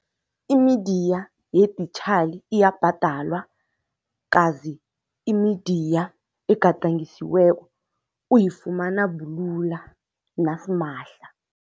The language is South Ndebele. Imidiya yeditjhali iyabhadalwa kazi imidiya egadangisiweko uyifumana bulula nasimahla.